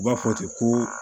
U b'a fɔ ten ko